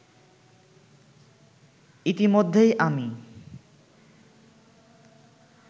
ইতিমধ্যেই আমি